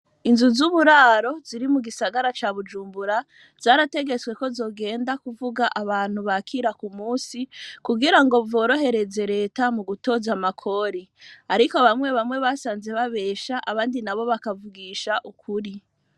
Inzu z'uburaro, ziri mu gisagara ca Bujumbura, zarategetswe ko, zogenda kuvuga, abantu bakira, ku munsi, kugira ngo, vyorohereze leta, mu gutoza amakori; ariko bamwe bamwe, basanze babesha, abandi nabo, bakavugisha ukuri.